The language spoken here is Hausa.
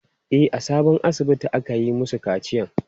E, a sabon asibitin aka yi masu kaciyan.